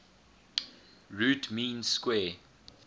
root mean square